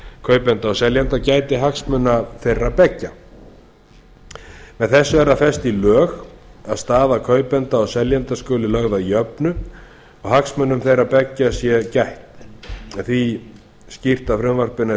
kaupenda og seljenda gæti hagsmuna þeirra beggja með þessu er það fest í lög að staða kaupenda og seljenda skuli lögð að jöfnu og hagsmunum þeirra beggja sé gætt er því skýrt að frumvarpinu er